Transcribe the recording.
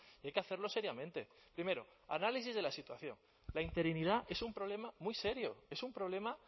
y hay que hacerlo seriamente primero análisis de la situación la interinidad es un problema muy serio es un problema